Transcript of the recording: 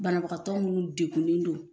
Banabagatɔ minnu degunlen don